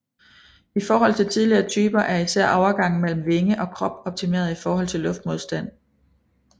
I forhold til tidligere typer er især overgangen mellem vinge og krop optimeret i forhold til luftmodstand